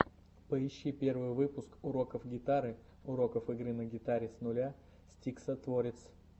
поищи первый выпуск уроков гитары уроков игры на гитаре с нуля стиксатворец